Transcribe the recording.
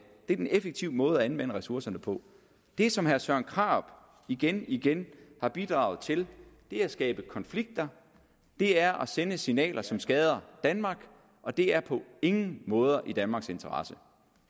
det er den effektive måde at anvende ressourcerne på det som herre søren krarup igen igen har bidraget til er at skabe konflikter det er at sende signaler som skader danmark og det er på ingen måde i danmarks interesse